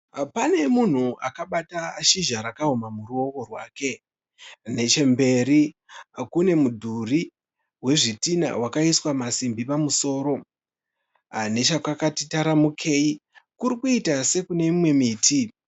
Pane munhu akabata shizha rakaoma muruoko rwake. Nechemberi kune mudhuri wezvitinha wakaiswa masimbi pamusoro .Nechekwati taramukei kurikuita sekune imwe miti.